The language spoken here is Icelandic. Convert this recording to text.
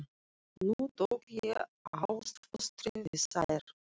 Nú tók ég ástfóstri við þær.